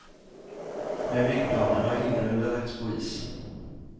Men byggplanerna har ingalunda lagts på is.